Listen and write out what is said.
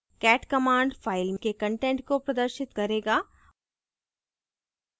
cat command file के content को प्रदर्शित करेगा